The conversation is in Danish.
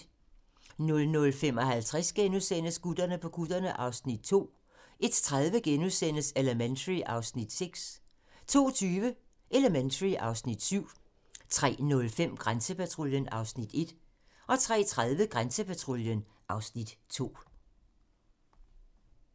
00:55: Gutterne på kutterne (Afs. 2)* 01:30: Elementary (Afs. 6)* 02:20: Elementary (Afs. 7) 03:05: Grænsepatruljen (Afs. 1) 03:30: Grænsepatruljen (Afs. 2)